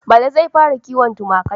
Bala zai fara kiwon tumaki.